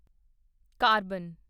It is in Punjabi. ਕਾਰਬਨ